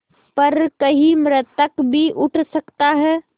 पर कहीं मृतक भी उठ सकता है